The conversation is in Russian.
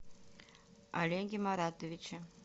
олеге маратовиче